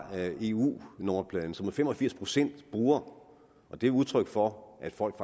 eu nummerpladen som fem og firs procent bruger og det er udtryk for at folk